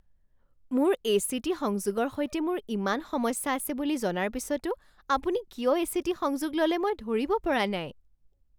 মোৰ এ.চি.টি. সংযোগৰ সৈতে মোৰ ইমান সমস্যা আছে বুলি জনাৰ পিছতো আপুনি কিয় এ.চি.টি. সংযোগ ল'লে মই ধৰিব পৰা নাই।